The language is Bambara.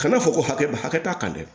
Kana fɔ ko hakɛ hakɛ t'a kan dɛ